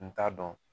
N t'a dɔn